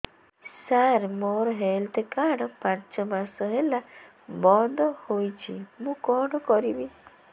ସାର ମୋର health card ପାଞ୍ଚ ମାସ ହେଲା ବଂଦ ହୋଇଛି ମୁଁ କଣ କରିବି